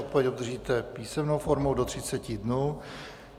Odpověď obdržíte písemnou formou do 30 dnů.